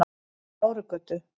Bárugötu